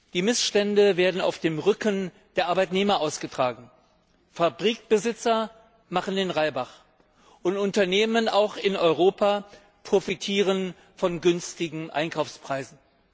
Die Missstände werden auf dem Rücken der Arbeitnehmer ausgetragen. Fabrikbesitzer machen den Reibach und Unternehmen auch in Europa profitieren von günstigen Einkaufspreisen.